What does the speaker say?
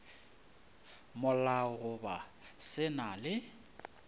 molao goba se na le